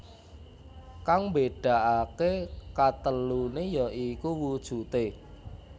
Kang mbédakaké kateluné ya iku wujudé